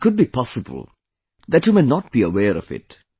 It could be possible that you may not be aware of it